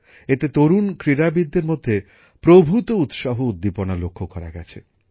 এতে তরুণ ক্রীড়াবিদদের মধ্যে প্রভূত উৎসাহ উদ্দীপনা লক্ষ্য করা গেছে